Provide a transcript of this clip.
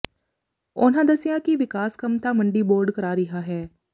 ਉਨ੍ਹਾਂ ਦੱਸਿਆ ਕਿ ਵਿਕਾਸ ਕੰਮ ਤਾਂ ਮੰਡੀ ਬੋਰਡ ਕਰਾ ਰਿਹਾ ਹੈ